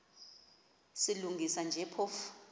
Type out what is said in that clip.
silungisa nje phofu